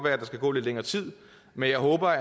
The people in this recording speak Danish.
at der skal gå lidt længere tid men jeg håber